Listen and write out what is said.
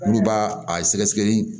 Olu b'a a sɛgɛsɛgɛli